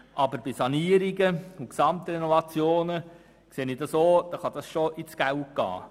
Aber bei Sanierungen und Gesamtrenovationen kann es ins Geld gehen.